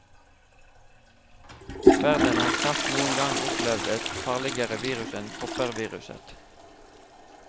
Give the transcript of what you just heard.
Verden har knapt noen gang opplevd et farligere virus enn kopperviruset.